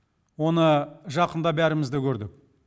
оны жақында бәріміз де көрдік